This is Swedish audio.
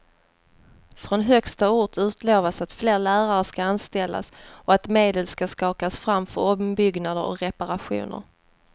Från högsta ort utlovas att fler lärare ska anställas och att medel ska skakas fram för ombyggnader och reparationer.